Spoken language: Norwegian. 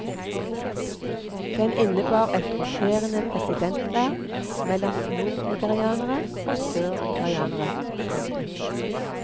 Den innebar et roterende presidentverv mellom nordnigerianere og sørnigerianere. punktum